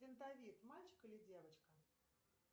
мальчик или девочка